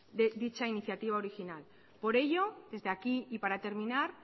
dicha iniciativa original por ello desde aquí y para terminar